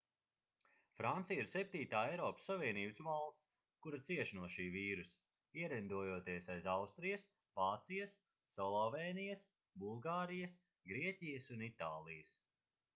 francija ir septītā eiropas savienības valsts kura cieš no šī vīrusa ierindojoties aiz austrijas vācijas slovēnijas bulgārijas grieķijas un itālijas